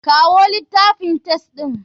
Kawo litafin test ɗin.